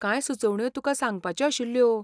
कांय सुचोवण्यो तुका सांगपाच्यो आशिल्ल्यो.